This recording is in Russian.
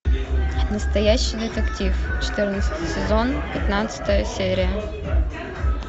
настоящий детектив четырнадцатый сезон пятнадцатая серия